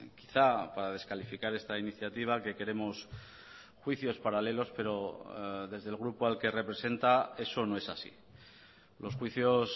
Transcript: quizá para descalificar esta iniciativa que queremos juicios paralelos pero desde el grupo al que representa eso no es así los juicios